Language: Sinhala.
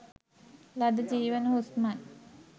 ලද ජීවන හුස්මයි.